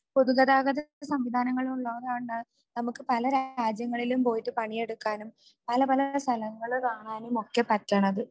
പൊതുഗതാഗത സംവിധാനങ്ങൾ ഉള്ളോണ്ടാണ് നമുക്ക് പല രാജ്യങ്ങളിലും പോയിട്ട് പണിയെടുക്കാനും പലപല സ്ഥലങ്ങൾ കാണാനും ഒക്കെ പറ്റുന്നത്